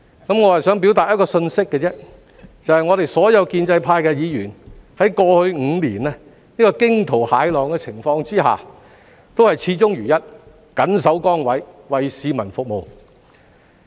我只是想表達一個信息，就是我們所有建制派議員在過去5年這個驚濤駭浪的情況之下，都是始終如一、緊守崗位、為市民服務。